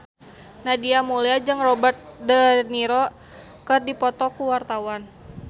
Nadia Mulya jeung Robert de Niro keur dipoto ku wartawan